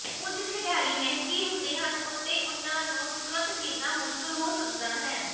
ਕੁਝ ਖਿਡਾਰੀ ਮਹਿੰਗੇ ਹੁੰਦੇ ਹਨ ਅਤੇ ਉਨ੍ਹਾਂ ਨੂੰ ਤੁਰੰਤ ਖਰੀਦਣਾ ਮੁਸ਼ਕਲ ਹੋ ਸਕਦਾ ਹੈ